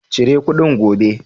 Cire kuɗin gobe!